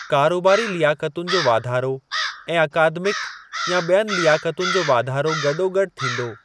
कारोबारी लियाकतुनि जो वाधारो ऐं 'अकादमिक' या ॿियुनि लियाकतुनि जो वाधारो गॾोगॾु थींदो।